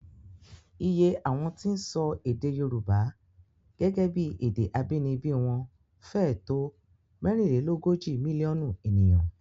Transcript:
Iye àwọn tí ń sọ èdè Yorùbá gẹ́gẹ́ bí èdè abínibí wọn fẹ́ẹ̀ tó mẹ́rinlélógójì mílíọ̀nù ènìyàn